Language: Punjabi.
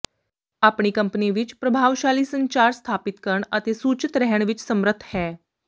ਆਪਣੀ ਕੰਪਨੀ ਵਿਚ ਪ੍ਰਭਾਵਸ਼ਾਲੀ ਸੰਚਾਰ ਸਥਾਪਿਤ ਕਰਨ ਅਤੇ ਸੂਚਤ ਰਹਿਣ ਵਿੱਚ ਸਮਰੱਥ ਹੈ